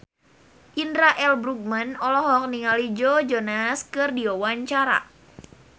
Indra L. Bruggman olohok ningali Joe Jonas keur diwawancara